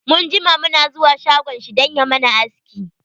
Mun jima mu na zuwa shagon shi dan ya mana aski.